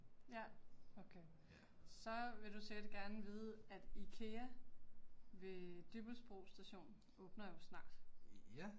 Ja, okay. Så vil du sikkert gerne vide at IKEA ved Dybbølsbro station åbner jo snart